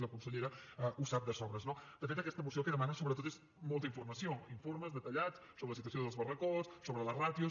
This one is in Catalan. i la consellera ho sap de sobres no de fet aquesta moció el que demana sobretot és molta informació informes detallats sobre la situació dels barracots sobre les ràtios